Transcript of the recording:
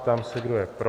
Ptám se, kdo je pro.